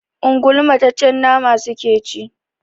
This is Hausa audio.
Ungulu mataccen nama suke ci.